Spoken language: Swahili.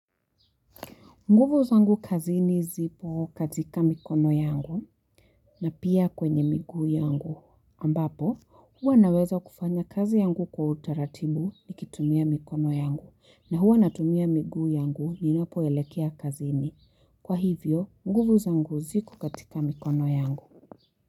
Nguvu zangu kazini zipo kakita mikono yangu na pia kwenye miguu yangu. Ambapo, huwa naweza kufanya kazi yangu kwa utaratibu nikitumia mikono yangu na huwa natumia miguu yangu ninapoelekea kazini. Kwa hivyo, nguvu zangu ziku katika mikono yangu.